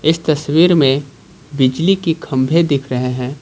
इस तस्वीर में बिजली की खंभे दिख रहे हैं।